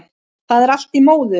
Það er allt í móðu